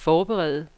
forberede